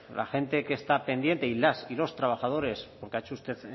la gente que está pendiente y las y los trabajadores porque ha hecho usted